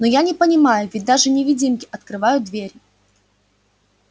но я не понимаю ведь даже невидимки открывают двери